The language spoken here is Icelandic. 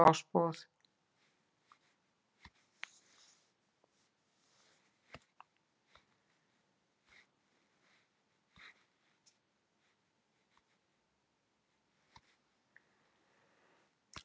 Ásbúð